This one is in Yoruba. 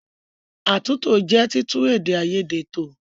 Àtúntò jẹ́ títún èdè àìyedè tò.